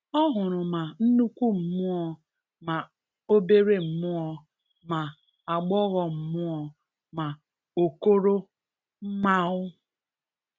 O hụrụ ma nnukwu mmụọ ma obere mmụo, ma agbọghọ mmụo, ma okoro mmạo.